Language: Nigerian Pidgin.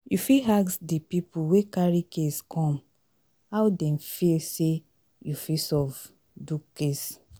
you fit ask di pipo wey carry case come how dem feel sey you fit solve do case